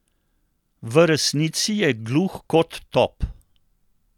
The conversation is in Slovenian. V resnici je gluh kot top!